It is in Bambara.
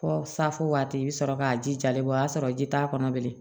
Fɔ safo waati i bi sɔrɔ k'a ji jalen bɔ o y'a sɔrɔ ji t'a kɔnɔ bilen